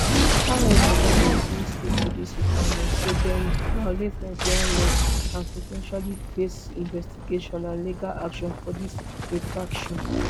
however binance no stick to dis requirements so dem violate nigerian laws and po ten tially face investigation and legal action for dis infraction